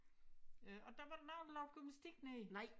Øh og den var der nogle der lavede gymnastik nede i